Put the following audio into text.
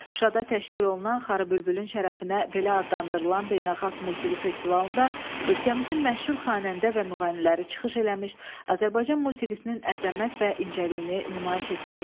Şuşada təşkil olunan xarı bülbülün şərəfinə belə adlandırılan beynəlxalq musiqi festivalında ölkəmizin məşhur xanəndə və müğənniləri çıxış eləmiş, Azərbaycan musiqisinin əzəmət və incəliyini nümayiş etdirmişlər.